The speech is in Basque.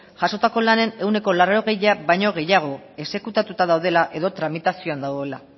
jasotako lanen ehuneko laurogeia baino gehiago exekutatuta daudela edo tramitazioan dagoela